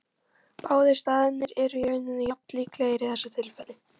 Báðir staðirnir eru í rauninni jafn líklegir í þessu tilfelli.